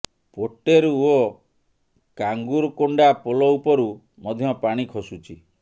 ପୋଟେରୁ ଓ କାଙ୍ଗୁରକୋଣ୍ଡା ପୋଲ ଉପରୁ ମଧ୍ୟ ପାଣି ଖସୁଛି